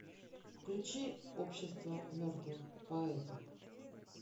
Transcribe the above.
включи общество мертвых поэтов